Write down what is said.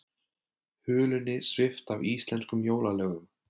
Hulunni svipt af íslenskum jólalögum